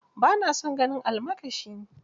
Ba na son ganin almakashi